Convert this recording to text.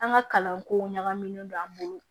An ka kalanko ɲagaminen don an bolo